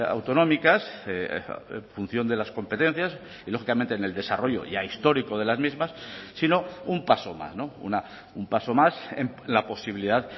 autonómicas función de las competencias y lógicamente en el desarrollo ya histórico de las mismas sino un paso más un paso más en la posibilidad